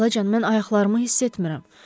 Xalacan, mən ayaqlarımı hiss etmirəm.